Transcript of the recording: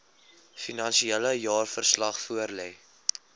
finansiële jaarverslag voorlê